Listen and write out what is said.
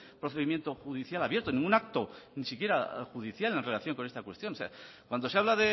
procedimiento judicial abierto ningún acto ni siquiera judicial en relación con esta cuestión cuando se habla